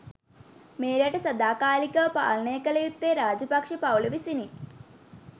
මේ රට සදා කාලිකව පාලනය කල යුත්තේ රාජපක්ෂ පවුල විසිනි